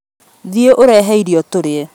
Thiĩ ũrehe irio tũrĩe